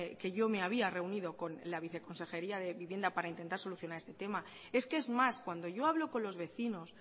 que yo me había reunido con la viceconsejería de vivienda para intentar solucionar este tema es que es más cuando yo hablo con los vecinos